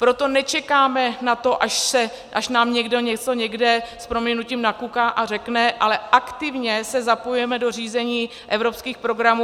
Proto nečekáme na to, až nám někdo něco někde s prominutím nakuká a řekne, ale aktivně se zapojujeme do řízení evropských programů.